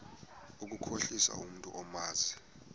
ukukhohlisa umntu omazi